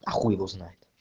а хуй его знает